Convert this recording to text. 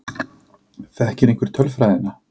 Þekkir einhver tölfræðina?